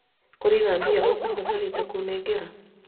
kũrĩ na mbia ũkũbatarĩte kũnengera?